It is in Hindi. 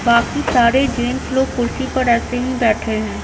बाकी सारे जेंस लोग कुर्सी पर ऐसे ही बैठे हैं।